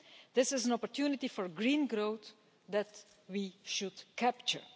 It is an opportunity for green growth, which we should capture.